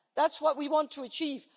that. That is what we want to achieve.